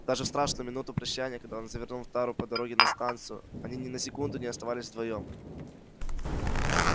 даже в страшную минуту прощанья когда он завернул в тару по дороге на станцию они ни на секунду не оставались вдвоём